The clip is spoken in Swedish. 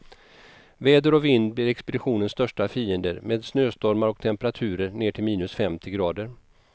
Väder och vind blir expeditionens största fiender, med snöstormar och temperaturer ner till minus femtio grader.